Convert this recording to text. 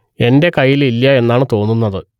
എന്റെ കയ്യിൽ ഇല്ല എന്നാണ് തോന്നുന്നത്